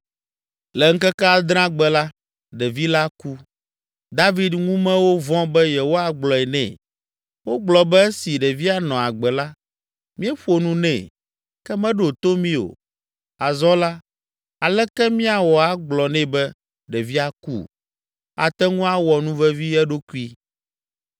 Le ŋkeke adrea gbe la, ɖevi la ku. David ŋumewo vɔ̃ be yewoagblɔe nɛ. Wogblɔ be “Esi ɖevia nɔ agbe la, míeƒo nu nɛ, ke meɖo to mí o; azɔ la, aleke míawɔ agblɔ nɛ be ɖevia ku? Ate ŋu awɔ nuvevi eɖokui.”